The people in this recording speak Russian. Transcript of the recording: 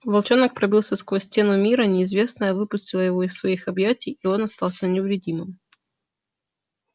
волчонок пробился сквозь стену мира неизвестное выпустило его из своих объятий и он остался невредимым